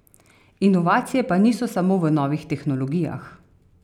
Inovacije pa niso samo v novih tehnologijah.